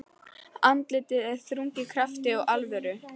Andlitið er þrungið krafti og alvöru.